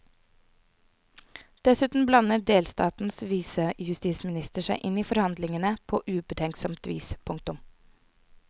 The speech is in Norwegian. Dessuten blander delstatens visejustisminister seg inn i forhandlingene påubetenksomt vis. punktum